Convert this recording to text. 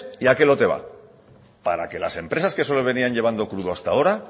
y a qué lote va para que las empresas que se solían llevando crudo hasta ahora